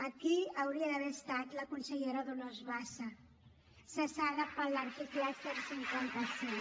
aquí hi hauria d’haver estat la consellera dolors bassa cessada per l’article cent i cinquanta cinc